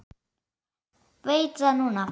Veit það núna.